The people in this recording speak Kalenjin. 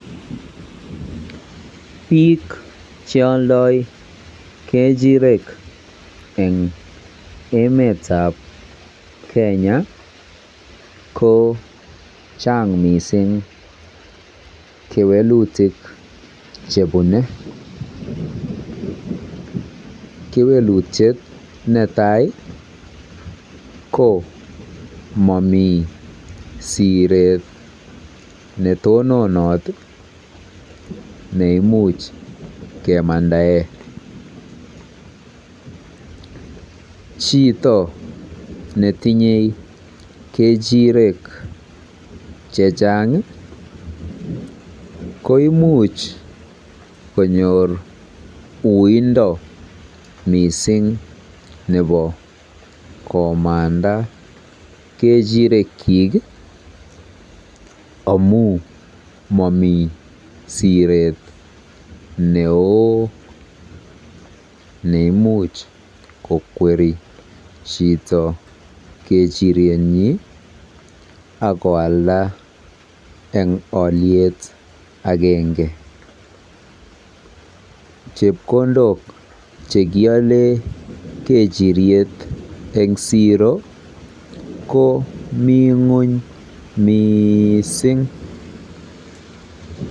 Biik cheoldoi kechirek chechang eng emetab Kenya kochang mising kewelutik chebune. Kewelutiet netai ko mami siret netononot nemuch kemandae. Chito netinye kechirek chechang koimuch konyor uindo mising nebo komanda kechirekyik amu mami siret neoo neimuch kokweri chito kechirekyi akoalda eng olyet agenge. Chepkondok chekiole kechiryet komi ng'ony miising.